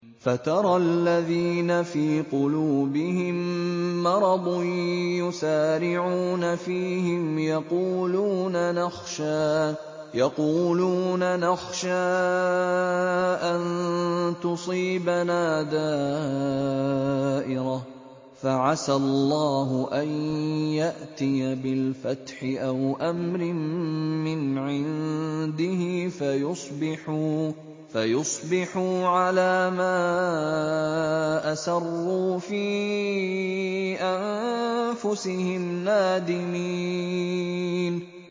فَتَرَى الَّذِينَ فِي قُلُوبِهِم مَّرَضٌ يُسَارِعُونَ فِيهِمْ يَقُولُونَ نَخْشَىٰ أَن تُصِيبَنَا دَائِرَةٌ ۚ فَعَسَى اللَّهُ أَن يَأْتِيَ بِالْفَتْحِ أَوْ أَمْرٍ مِّنْ عِندِهِ فَيُصْبِحُوا عَلَىٰ مَا أَسَرُّوا فِي أَنفُسِهِمْ نَادِمِينَ